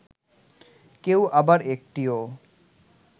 কেউ আবার একটিও